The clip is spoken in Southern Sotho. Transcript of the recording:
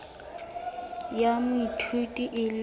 ya moithuti e le yona